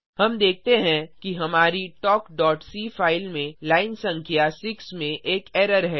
हम देखते हैं कि हमारी talkसी फाइल में लाइन संख्या 6 में एक एरर है